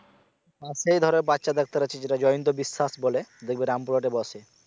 তাতেই ধরো বাচ্চাদের জয়ন্ত বিশ্বাস বলে দেখবে রামপুর হাটে বসে।